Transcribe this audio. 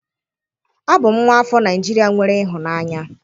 Abum nwa afo Naijiria nwere ihunanya.